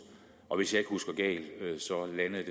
og hvis jeg ikke husker galt så landede